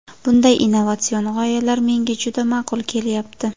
Bunday innovatsion g‘oyalar menga juda ma’qul kelyapti.